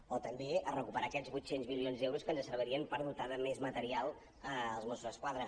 o també a recuperar aquests vuit cents milions d’euros que ens servirien per dotar de més material els mossos d’esquadra